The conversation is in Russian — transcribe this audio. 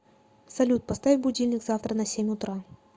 салют поставь будильник завтра на семь утра